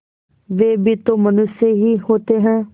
वे भी तो मनुष्य ही होते हैं